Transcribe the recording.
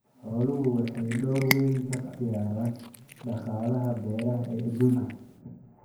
Xooluhu waxay door weyn ka ciyaaraan dhaqaalaha beeraha ee adduunka